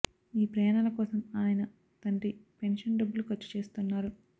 ఈ ప్రయాణాల కోసం ఆయన తండ్రి పెన్షన్ డబ్బులు ఖర్చు చేస్తున్నారు